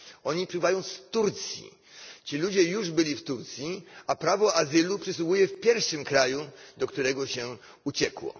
Oni wypływają z Turcji, ci ludzie już byli w Turcji, a prawo azylu przysługuje w pierwszym kraju, do którego się uciekło.